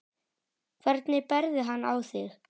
Hvernig berðu hann á þig?